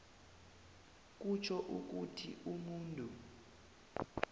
kutjho ukuthi umuntu